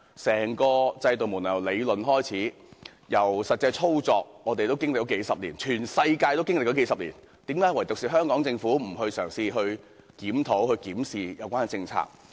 整個制度由理論到實際操作，我們已經歷數十年，全世界也經歷了數十年，為何唯獨香港政府不嘗試檢討及檢視有關政策？